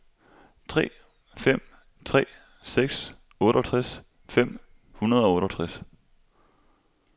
tre fem tre seks otteogtres fem hundrede og otteogtres